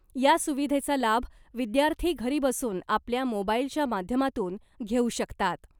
या सुविधेचा लाभ विद्यार्थी घरी बसून आपल्या मोबाईलच्या माध्यमातून घेऊ शकतात .